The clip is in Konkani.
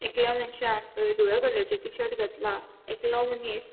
एकल्या मनशान हलदुव्या कलरचे टीशर्ट घातला एकलों मनिस --